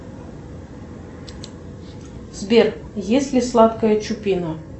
сбер есть ли сладкая чупина